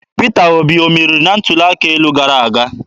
Peter Obi ọ meriri na ntuli aka elu gara aga?